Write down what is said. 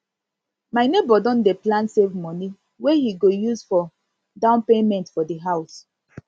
my nebor don dy plan save money wey he go use for down payment for di house